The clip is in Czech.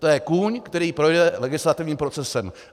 To je kůň, který projde legislativním procesem.